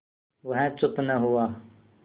वह चुप न हुआ